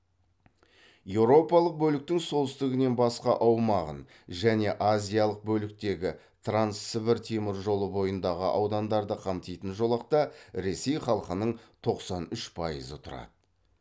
еуропалық бөліктің солтүстігінен басқа аумағын және азиялық бөліктегі транссібір теміржолы бойындағы аудандарды қамтитын жолақта ресей халқының тоқсан үш пайызы тұрады